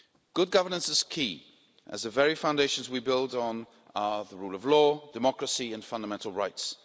Good governance is key as the very foundations we build on are the rule of law, democracy and fundamental rights.